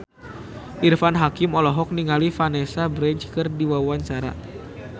Irfan Hakim olohok ningali Vanessa Branch keur diwawancara